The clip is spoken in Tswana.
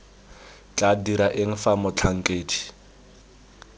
tla dira eng fa motlhankedi